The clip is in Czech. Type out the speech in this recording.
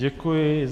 Děkuji.